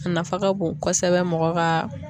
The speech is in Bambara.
A nafa ka bon kosɛbɛ mɔgɔ ka